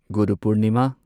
ꯒꯨꯔꯨ ꯄꯨꯔꯅꯤꯃꯥ